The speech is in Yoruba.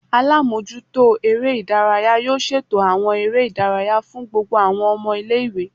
Alamojuto ere idaraya yoo ṣeto awọn ere idaraya fun gbogbo awọn ọmọ ile-iwe